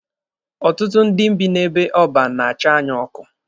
Ọtụtụ ndị bi n'ebe ọban na-acha anya ọkụ.